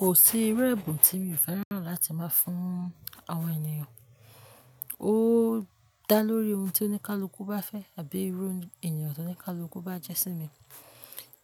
Kò sí irú ẹ̀bùn tí mi ò fẹ́ràn láti máa fún àwọn ènìyàn. Ó dá lórí ohun tí oníkálukú bá fẹ́ àbí irú ènìyàn tí oníkálukú bá jẹ́ sí mi.